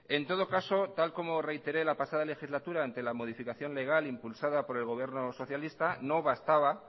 en todo caso tal como reiteré la pasada legislatura ante la modificación legal impulsada por el gobierno socialista no bastaba